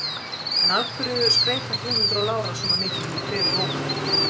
En af hverju skreyta Guðmundur og Lára svona mikið fyrir hver jól?